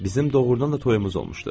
Bizim doğurdan da toyumuz olmuşdu.